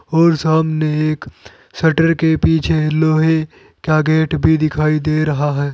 और सामने एक शटर के पीछे लोहे का गेट भी दिखाई दे रहा है।